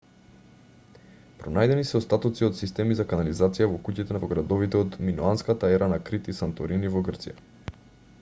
пронајдени се остатоци од системи за канализација во куќите во градовите од миноанската ера на крит и санторини во грција